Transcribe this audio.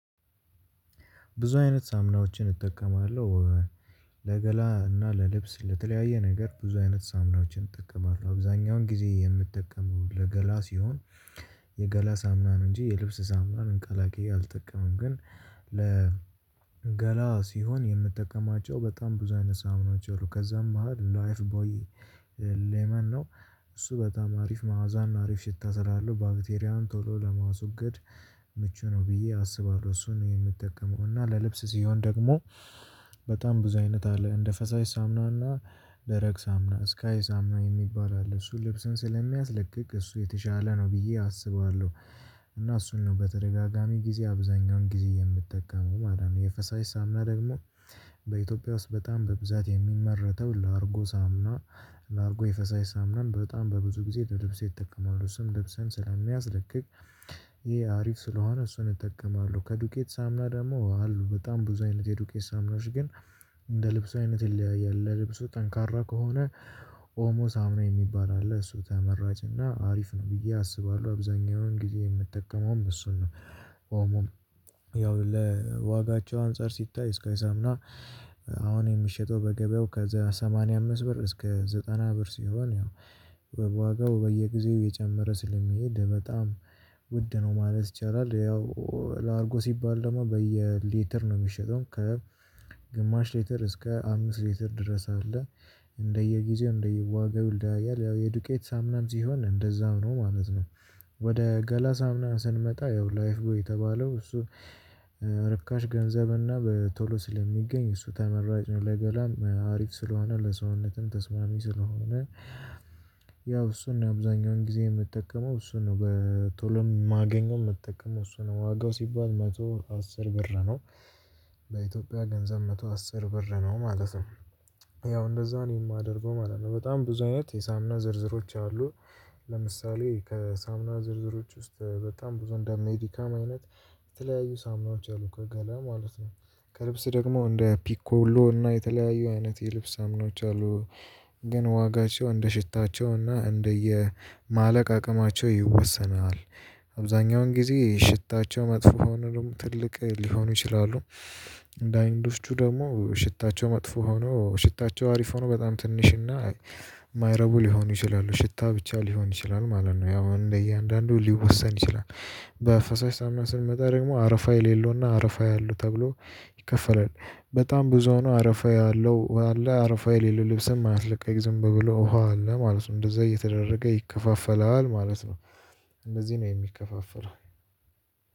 ብዙ አይነት ሳምናዎችን እጠቀማለ። ለገላ እና ለልብስ ለተለያየ ነገር ብዙ አይነት ሳምናዎችን እጠቀማለሁ። አብዛኛውን ጊዜ የምትጠቀመው ለገላ ሲሆን የገላ ሳምናን እንጂ የልብስ ሳምናን አንከላክዬ አልጠቀመም። ግን ለ ገላ ሲሆን የምጠቀማቸው በጣም ብዙ አይነት ሳምኖች አሉ። ከዛም ባህል ላይፍ ቦይ ሌመን ነው። እሱ በጣም አሪፍ መዋዛና አሪፍ ሽታ ስላለው ባክቴሪያውን ቶሎ ለማውሰድ ምቹ ነው። ብዬ አስባለሁ እሱን የምጠቀመው እና ለልብስ ሲሆን ደግሞ በጣም ብዙ አይነት አለ እንደ ፈሳሽ ሳምናና ደረቅ ሳምና ስካይ ሳምና የሚባል አለ እሱ ልብስን ስለሚያስለቅቅ እሱ የተሻለ ነው ብዬ አስባለሁ። እና እሱን ነው በተደጋጋሚ ጊዜ አብዛኛውን ጊዜ የምትጠቀመው። ማለት ነው የፈሳሽ ሳምና ደግሞ በኢትዮጵያ ውስጥ በጣም በብዛት የሚመረተው ላርጎ ሳምና ላርጎ የፈሳሽ ሳምናም በጣም በብዙ ጊዜ ለልብስ የተጠቀመው ስም ልብሰን ስለሚያስለቅቅ ይሄ አሪፍ ስለሆነ እሱን እጠቀማለሁ። ከዱቄት ሳምና ደግሞ አሉ። በጣም ብዙ አይነት የዱቄስ ሳምናዎች ግን እንደ ልብስ አይነት የለ ልብሱ ጠንካራ ከሆነ ኦሞ ሳሙና የሚባል አለ እሱ ተመራጭ እና አሪፍ ነው። ብዬ አስባለሁ አብዛኛውን ጊዜ የምጠቀመውም እሱን ነው ኦሞ ያው ለዋጋቸው አንፃር ሲታይ ስካይ ሳምና አሁን የምትሸጠው በገበያው ከዛ ሰማንያ አምስት ብር እስከ ዘጠና ብር ሲሆን ያው በዋጋው በየጊዜው የጨመረ ስለሚሄድ በጣም ውድ ነው። ማለት ይቻላል። ያው ላርጎ ሲባል ደግሞ በየሌተር ነው የሚሸጠው ከግማሽ ሌተር እስከ አምስት ሌተር ድረስ አለ። እንደየጊዜው እንደየዋጋው ይልዳያል ያው የዱቄት ሳምናም ሲሆን እንደዛው ነው ማለት ነው ወደ ገላ ሳምና ስንመጣ ያው ላይፍ የተባለው እሱ ርካሽ ገንዘብና በቶሎ ስለሚገኝ እሱ ተመራጭ ነው። ለገላም ለሀሪፍ ስለሆነ ለሰውነትም ተስማሚ ስለሆነ ያው እሱን ነው አብዛኛውን ጊዜ የምትጠቀመው እሱን ነው በቶሎ ማገኘው የምትጠቀመው እሱ ነው ዋጋው ሲባል መቶ አስር ብር ነው በኢትዮጵያ ገንዘብ መቶ አስር ብር ነው ማለት ነው። ያው እንደዛ ነው የማደርገው ማለት ነው በጣም ብዙ አይነት የሳምና ዝርዝሮች አሉ ለምሳሌ ከሳምና ዝርዝሮች ውስጥ በጣም ብዙ እንደ ሜዲካም አይነት የተለያዩ ሳምናዎች አሉ። ከገለ ማለት ነው። ከልብስ ደግሞ እንደ ፒኮሎ እና የተለያዩ አይነት የልብስ ሳሙናዎች አሉ ግን ዋጋቸው እንደ ሽታቸውና እንደየ ማለቅ አቅማቸው ይወሰናል። አብዛኛውን ጊዜ ሽታቸው መጥፎ ሆኖ ትልቅ ሊሆኑ ይችላሉ። እንደ አይንዶስቹ ደግሞ ሽታቸው መጥፎ ሆኖ ሽታቸው አሪፍ ሆኖ በጣም ትንሽና የማይረቡ ሊሆኑ ይችላሉ ሽታ ብቻ ሊሆን ይችላል። ማለት ነው ያው እንደ እያንዳንዱ ሊወሰን ይችላል። በፈሳሽ ስሜት መጠሪያ ደግሞ አረፋ የሌለውና አረፋ ያለው ተብሎ ይከፈላል። በጣም ብዙ ነው አረፋ ያለው። አረፋ የሌለው ልብስም አያልቅም። ዝም ብሎ ውሃ አለ ማለት ነው እንደዛ እየተደረገ ይከፋፈላል። ማለት ነው እንደዚህ ነው የሚከፋፈረው።